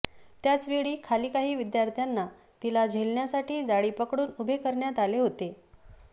त्याचवेळी खाली काही विद्यार्थ्यांना तिला झेलण्यासाठी जाळी पकडून उभे करण्यात आले होते